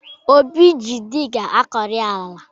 Obi ji diga akọrị ala